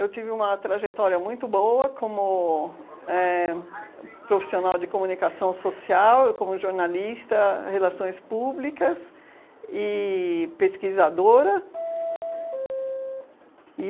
Eu tive uma trajetória muito boa como éh profissional de comunicação social, como jornalista, relações públicas e pesquisadora.